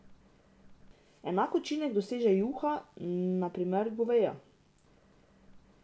Enak učinek doseže juha, na primer goveja.